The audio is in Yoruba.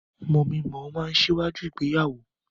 Mọmí mọ̀ọ́ máa n síwájú ìgbéyàwó.